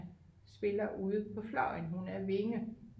spiller ude på fløjen hun er wing